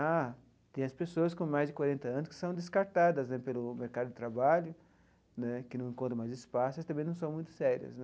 Ah, tem as pessoas com mais de quarenta anos que são descartadas né pelo mercado de trabalho né, que não encontram mais espaços, também não são muito sérias né.